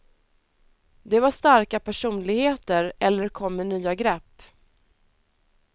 De var starka personligheter eller kom med nya grepp.